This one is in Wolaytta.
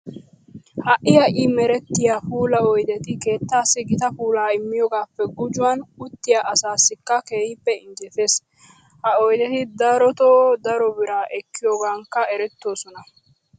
Ha"i ha"i merettiya puula oydeti keettaassi gita puulaa immiyogaappe gujuwan uttiya asaasikka keehippe injjetees. Ha oydeti darotoo daro biraa ekkiyogankka erettoosona.